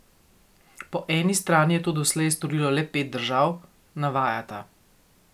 Po eni strani je to doslej storilo le pet držav, navajata.